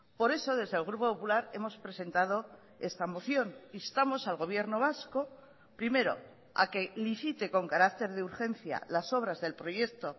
por eso desde el grupo popular hemos presentado esta moción instamos al gobierno vasco primero a que licite con carácter de urgencia las obras del proyecto